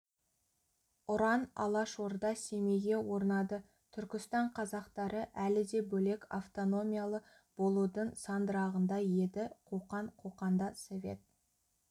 ұран алашорда семейге орнады түркістан қазақтары әлі де бөлек автономиялы болудың сандырағында еді қоқан қоқанда совет